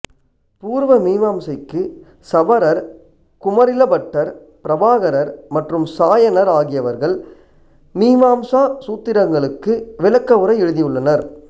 பூர்வமீமாம்சைக்கு சபரர் குமரிலபட்டர் பிரபாகரர் மற்றும் சாயனர் ஆகியவர்கள் மீமாம்சா சூத்திரங்களுக்கு விளக்க உரை எழுதியுள்ளனர்